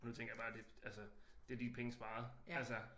Og nu tænker jeg bare det altså det er de penge sparet altså